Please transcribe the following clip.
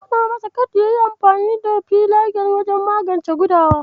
Na faɗa masa kada yayi amfani da filagil wajen magance gudawa.